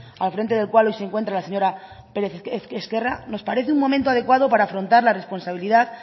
al frente del cual hoy se encuentra la señora pérez ezquerra nos parece un momento adecuado para afrontar la responsabilidad